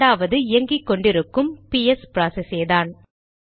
இரண்டாவது இயங்கிக்கொண்டு இருக்கும் பிஎஸ் ப்ராசஸேதான்